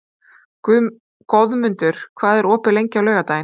Goðmundur, hvað er opið lengi á laugardaginn?